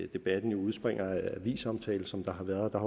debatten jo udspringer af avisomtale som der har været der